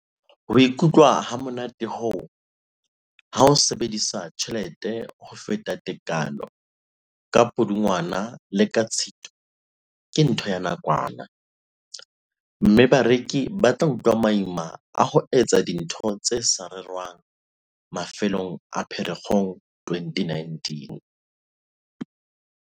"Ho ikutlwa hamonate hoo, ha o sebedisa tjhelete ho feta tekanyo ka Pudungwana le ka Tshitwe ke ntho ya nakwana, mme bareki ba tla utlwa maima a ho etsa dintho tse sa rerwang mafelong a Pherekgong 2019."